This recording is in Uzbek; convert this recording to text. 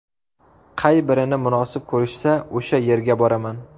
Qay birini munosib ko‘rishsa, o‘sha yerga boraman.